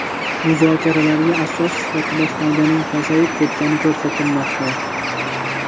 Muzokaralarga asos sifatida foydaning pasayib ketgani ko‘rsatilmoqda.